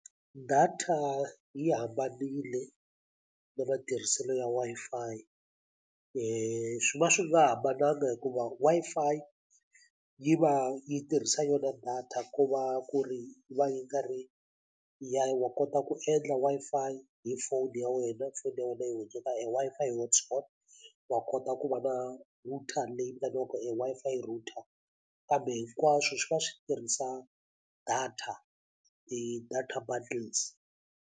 Data yi hambanile na matirhiselo ya Wi-Fi swi va swi nga hambananga hikuva Wi-Fi yi va yi tirhisa yona data ko va ku ri yi va yi nga ri ya wa kota ku endla Wi-Fi hi phone ya wena foni ya wena yi hundzaka e Wi-Fi hi Hotspot wa kota ku va na router leyi vitaniwaka e Wi-Fi router kambe hinkwaswo swi va swi tirhisa data ti-data bundles.